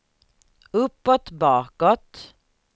uppåt bakåt